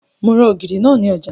Mo ra ògìrì náà ní ọjà